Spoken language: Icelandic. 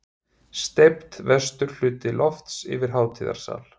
Steypt vestur hluti lofts yfir hátíðasal.